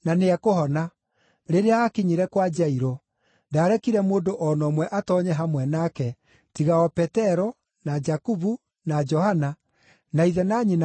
Rĩrĩa aakinyire kwa Jairũ, ndaarekire mũndũ o na ũmwe atoonye hamwe nake, tiga o Petero, na Jakubu, na Johana, na ithe na nyina a mwana ũcio.